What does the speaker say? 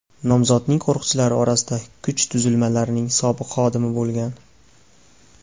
Nomzodning qo‘riqchilari orasida kuch tuzilmalarining sobiq xodimi bo‘lgan.